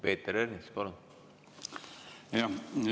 Peeter Ernits, palun!